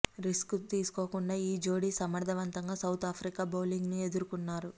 risk తీసుకోకుండా ఈ జోడి సమర్థవంతంగా సౌత్ ఆఫ్రికా బౌలింగ్ ను ఎదురుకున్నారు